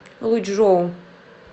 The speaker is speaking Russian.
лучжоу